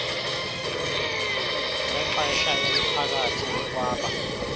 zexesha eliphakathi ukwaba